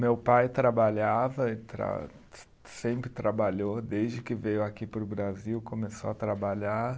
Meu pai trabalhava, ele tra se, sempre trabalhou, desde que veio aqui para o Brasil, começou a trabalhar.